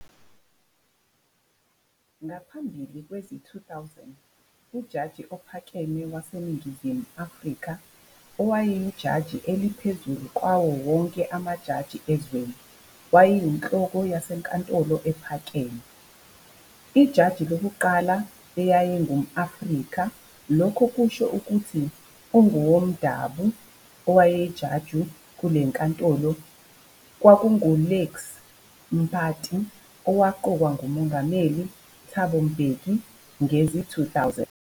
Ngaphambili kwezi-2001, uJaji Ophakeme waseNingizimu Afrika, owayijaji eliphezulu kwawonke amajaji ezweni, wayeyinhloko yeNkantolo Ephakeme. Ijaji yokuqala eyayingum-Afrika lokho kusho ukuthi ungumuntu womdabo owayijaji kulelinkantolo kwakungu-Lex Mpati owaqokwa nguMongameli Thabo Mbeki ngezi-2000.